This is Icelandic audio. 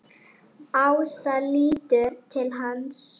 Ása lítur til hans.